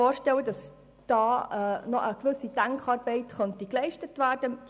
Ich stelle mir vor, dass hier noch eine gewisse Denkarbeit geleistet werden könnte.